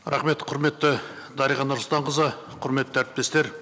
рахмет құрметті дариға нұрсұлтанқызы құрметті әріптестер